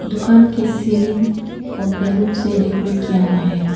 दुकान के सीलिंग को बैलून से डेकोरेट किया हुआ है।